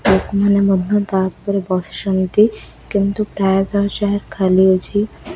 ଲୋକମାନେ ମଧ୍ଯ ତାଉପରେ ବସିଛନ୍ତି କିନ୍ତୁ ପ୍ରାୟତଃ ଚେୟାର ଖାଲିଅଛି।